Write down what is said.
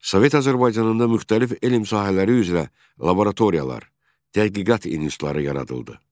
Sovet Azərbaycanında müxtəlif elm sahələri üzrə laboratoriyalar, tədqiqat institutları yaradıldı.